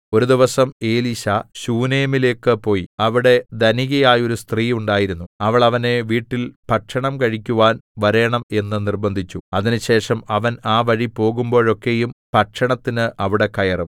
ഒരു ദിവസം എലീശാ ശൂനേമിലേക്ക് പോയി അവിടെ ധനികയായോരു സ്ത്രീ ഉണ്ടായിരുന്നു അവൾ അവനെ വീട്ടിൽ ഭക്ഷണം കഴിക്കുവാൻ വരേണം എന്ന് നിർബ്ബന്ധിച്ചു അതിനുശേഷം അവൻ ആ വഴി പോകുമ്പോഴൊക്കെയും ഭക്ഷണത്തിന് അവിടെ കയറും